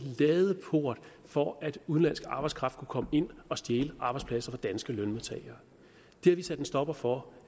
ladeport for at udenlandsk arbejdskraft kunne komme ind og stjæle arbejdspladser fra danske lønmodtagere det har vi sat en stopper for